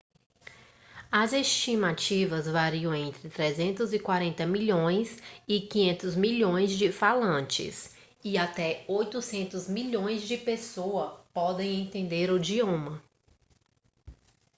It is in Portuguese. as estimativas variam entre 340 milhões e 500 milhões de falantes e até 800 milhões de pessoas podem entender o idioma